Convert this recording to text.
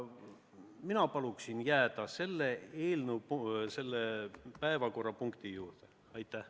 Mina palun jääda selle eelnõu, selle päevakorrapunkti juurde!